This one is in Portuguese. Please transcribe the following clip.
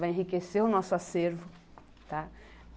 Vai enriquecer o nosso acervo, tá?